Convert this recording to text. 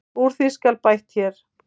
Úr því skal bætt hér.